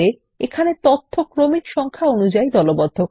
এই ক্রমিক সংখ্যা দ্বারা তথ্য দলবদ্ধ করে